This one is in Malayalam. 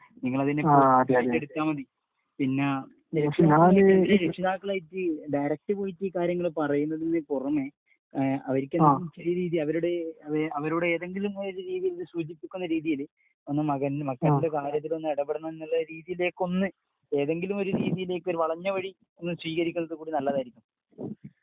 നിങ്ങൾ അതിനെ കുറിച്ച് പിന്നെ രക്ഷിതാക്കളുമായിട്ടു ഡയറക്റ്റ് വിളിച്ച് കാര്യങ്ങൾ പറയുന്നതിന് പുറമേ അവരുടെ ഏതെങ്കിലും ഒരു രീതിയിൽ സൂചിപ്പിക്കുന്ന രീതിയില് മക്കളുടെ കാര്യത്തില് ഒന്ന് ഇടപെടണം എന്നുള്ള രീതിയിലേക്കൊന്നു ഏതെങ്കിലും ഒരു രീതിയിലേക്ക് ഒരു വളഞ്ഞ വഴി കൂടി നിങ്ങൾ സ്വീകരിക്കുന്നത് നല്ലതായിരിക്കും.